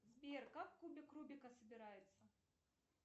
сбер как кубик рубика собирается